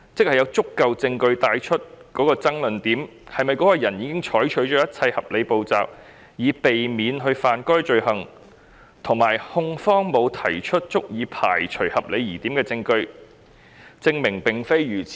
換言之，爭論點在於是否有足夠證據證明該人已採取一切合理步驟以避免干犯該罪行，以及控方能否提出足以排除合理疑點的證據，證明並非如此。